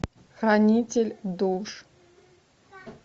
хранитель душ